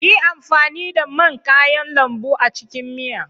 Yi amfani da man kayan lambu a cikin miya!